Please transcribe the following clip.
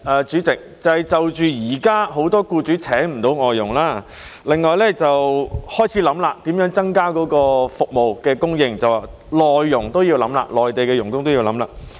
主席，第一，就現時很多僱主聘請不到外傭，當局亦開始考慮如何增加這項服務的供應，包括將內傭列入考慮。